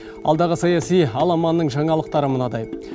алдағы саяси аламанның жаңалықтары мынадай